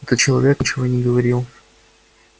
этот человек ничего не говорил